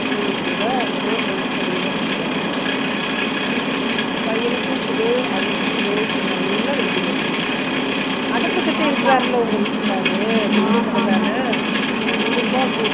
energy உம் கூட மோர் நாலா சளிஎல்லாம் புடிக்கத்தமா பையனுக்கும் குடு அவருக்கும் குடு இப்ப நல்ல வெயில் அடிக்குது அடுப்பு கிட்ட இருக்காறருல உங்க விட்டுகாறாரு பிரியாணி கடை தான கண்டிப்பா குடு